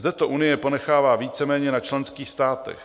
Zde to Unie ponechává víceméně na členských státech.